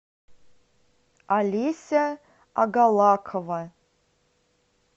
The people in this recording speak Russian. алеся агалакова